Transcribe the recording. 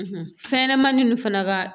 fɛnɲɛnɛmanin ninnu fana ka